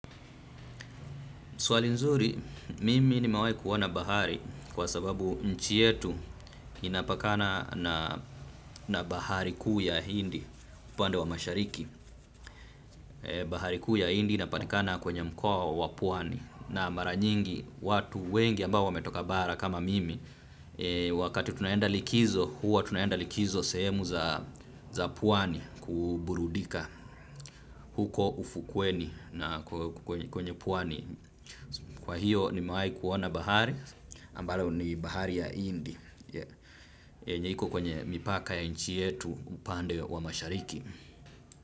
Swali nzuri, mimi nimewai kuona bahari kwa sababu nchi yetu inapakana na bahari kuu ya hindi, upande wa mashariki. Bahari kuu ya hindi inapatikana kwenye mkoa wa pwani na mara nyingi watu wengi ambao wametoka bara kama mimi. Wakati tunaenda likizo, huwa tunaenda likizo sehemu za pwani kuburudika huko ufukweni na kwenye pwani. Kwa hiyo nimewai kuona bahari ambalo ni bahari ya hindi yenye iko kwenye mipaka ya nchi yetu upande wa mashariki.